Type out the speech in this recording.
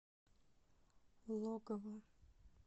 логово